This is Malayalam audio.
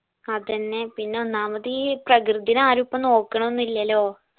അതെന്നെ പിന്നെ ഒന്നാമത് ഈ പ്രകൃതിനെ ആരു ഇപ്പോ നോക്കണ്ണൊന്നു ഇല്ലെലോ